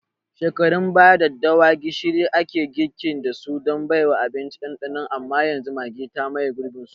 Shekarun baya, daddawada gishiri ake girki dasu don baiwa abinci ɗanɗanon amma yanzu Maggi ta maye gurbin su.